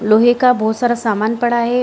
लोहे का बहुत सारा सामान पड़ा है।